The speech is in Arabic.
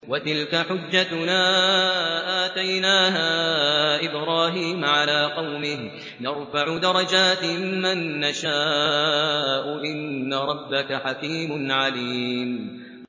وَتِلْكَ حُجَّتُنَا آتَيْنَاهَا إِبْرَاهِيمَ عَلَىٰ قَوْمِهِ ۚ نَرْفَعُ دَرَجَاتٍ مَّن نَّشَاءُ ۗ إِنَّ رَبَّكَ حَكِيمٌ عَلِيمٌ